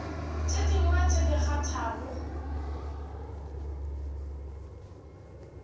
tše dingwe tše di kgathago